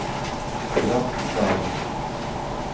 Bratislava